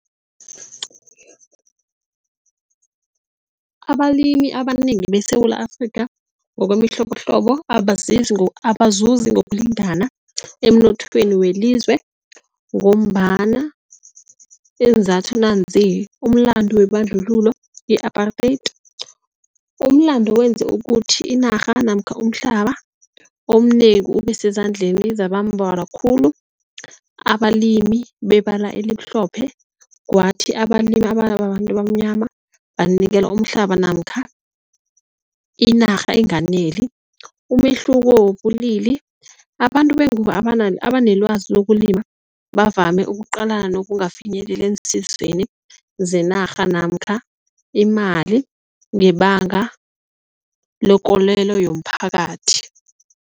Abalimi abanengi beSewula Afrika ngokwemihlobohlobo abazuzi ngokulingana emnothweni welizwe ngombana iinzathu nanzi, umlandu webandlululo i-apartheid. Umlando wenze ukuthi inarha namkha umhlaba omnengi ube sezandleni zabambalwa khulu. Abalimi bebala elimhlophe kwathi abalimi ababantu abamnyama banikelwa umhlaba namkha inarha enganeli. Umehluko wobulili, abantu bengubo abanelwazi ukulima bavame ukuqalana nokungafinyeleli eensizeni zenarha namkha imali ngebanga lekolelo yomphakathi.